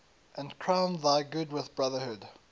and crown thy good with brotherhood